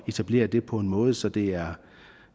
etablere det på en måde så det er